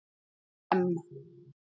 M